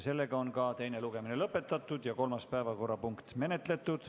Teine lugemine on lõpetatud ja kolmas päevakorrapunkt menetletud.